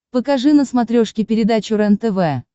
покажи на смотрешке передачу рентв